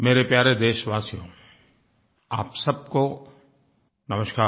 मेरे प्यारे देशवासियो आप सबको नमस्कार